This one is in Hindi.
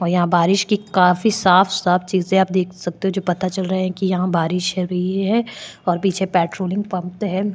और यहाँ बारिश की काफी साफ़ साफ़ चीजे आप देख सकते हो जो पता चल रहा है की यहाँ बारिश अभी है और पीछे पेट्रोलिंग पंप है।